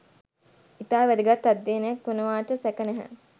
ඉතා වැදගත් අධ්‍යනයක් වනවාට සැක නැහැ.